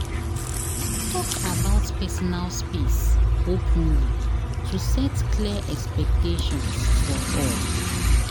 Talk about personal space openly to set clear expectations for all.